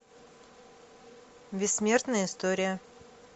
бессмертная история